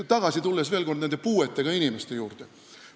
Tulen veel kord tagasi puuetega inimeste juurde.